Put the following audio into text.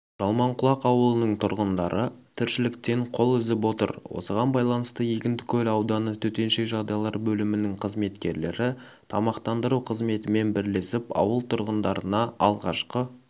жалманқұлақ ауылының тұрғындары тіршіліктен қол үзіп отыр осыған байланысты егіндікөл ауданы төтенше жағдайлар бөлімінің қызметкерлері тамақтандыру қызметімен бірлесіп ауыл тұрғындарына алғашқы